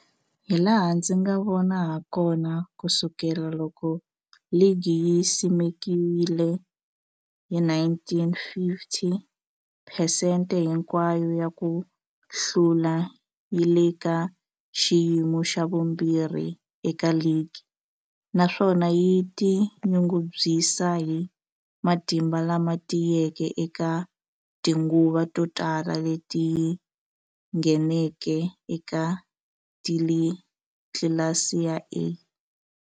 Hilaha ndzi nga vona hakona, ku sukela loko ligi yi simekiwile, 1950, phesente hinkwayo ya ku hlula yi le ka xiyimo xa vumbirhi eka ligi, naswona yi tinyungubyisa hi matimba lama tiyeke eka tinguva to tala leti yi ngheneke eka tlilasi ya A.